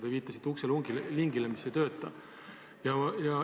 Te viitasite ukselingile, mis ei tööta.